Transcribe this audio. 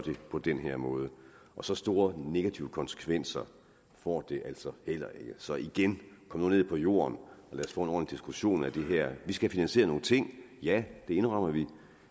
på den her måde og så store negative konsekvenser får det altså heller ikke så igen kom nu ned på jorden og lad os få en ordentlig diskussion af det her vi skal have finansieret nogle ting ja det indrømmer vi